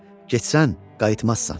Getsən qayıtmazsan.